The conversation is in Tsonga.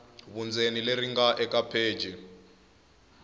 vundzeni leri nga eka pheji